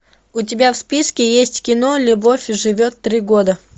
у тебя в списке есть кино любовь живет три года